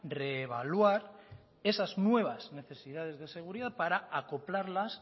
reevaluar esas nuevas necesidades de seguridad para acoplarlas